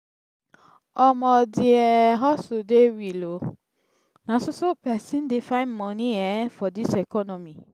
omo di um hustle dey real o na so so pesin dey find moni um for dis economy.